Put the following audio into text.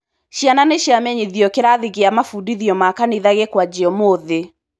Ciana nĩciamenyithio kĩrathi gĩa mabudithio ma kanitha gĩkwanjia ũmũthĩ.